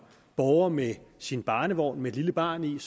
borger med sin barnevogn med et lille barn i